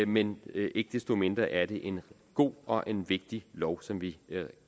men ikke desto mindre er det en god og en vigtig lov som vi